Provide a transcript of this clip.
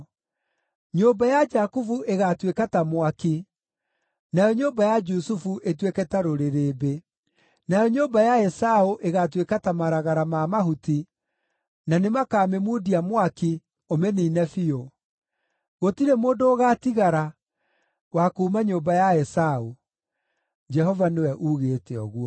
Nyũmba ya Jakubu ĩgaatuĩka ta mwaki, nayo nyũmba ya Jusufu ĩtuĩke ta rũrĩrĩmbĩ; nayo nyũmba ya Esaũ ĩgaatuĩka ta maragara ma mahuti, na nĩmakamĩmundia mwaki, ũmĩniine biũ. Gũtirĩ mũndũ ũgaatigara wa kuuma nyũmba ya Esaũ.” Jehova nĩwe uugĩte ũguo.